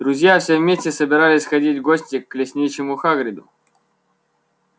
друзья все вместе собирались сходить в гости к лесничему хагриду